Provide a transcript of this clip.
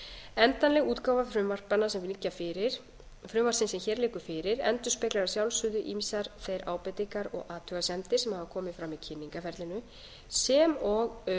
endanleg útgáfa frumvarpsins sem hér liggur fyrir endurspeglar að sjálfsögðu ýmsar þær ábendingar og athugasemdir sem hafa komið fram í kynningarferlinu sem og